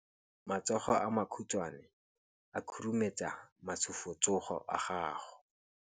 Matsogo a makhutshwane a khurumetsa masufutsogo a gago.